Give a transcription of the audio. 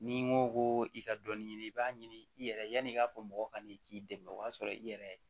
N'i ko ko i ka dɔnni ɲini i b'a ɲini i yɛrɛ ye yanni i k'a fɔ mɔgɔ ka n'i k'i dɛmɛ o y'a sɔrɔ i yɛrɛ